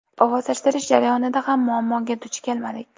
Ovozlashtirish jarayonida ham muammoga duch kelmadik.